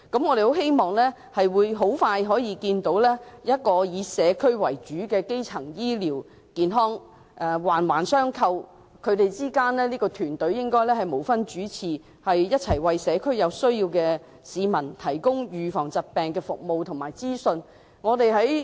我們希望可以快將看到以社區為主、環環相扣的基層醫療健康服務，而團隊之間亦應無分主次，一同為社區上有需要的市民提供疾病預防服務及資訊。